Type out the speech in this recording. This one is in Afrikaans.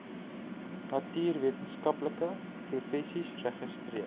natuurwetenskaplike professies registreer